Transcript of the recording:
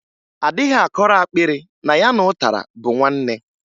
A dịghị akọrọ akpịrị na ya na ụtara bụ nwanne.